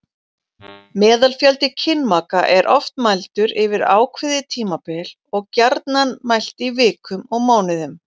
Meðalfjöldi kynmaka er oft mældur yfir ákveðið tímabil og gjarnan mælt í vikum og mánuðum.